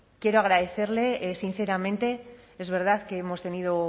quiero agradecerle sinceramente es verdad que hemos tenido